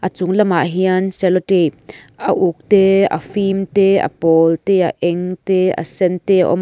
a chung lamah hian cello tape a uk te a fim te a pawl te a eng te a sen te a awm --